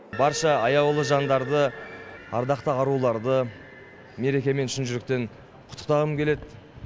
барша аяулы жандарды ардақты аруларды мерекемен шын жүректен құттықтағым келеді